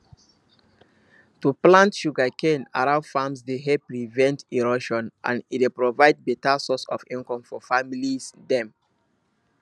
to plant sugercane around farms dey help prevent erosion and e dey provide beta source of income for families dem